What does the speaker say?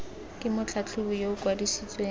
ke motlhatlhobi yo o kwadisitsweng